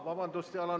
Vabandust!